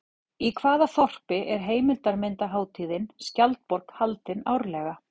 Í hvaða þorpi er heimildarmyndarhátíðin Skjaldborg haldin árlega?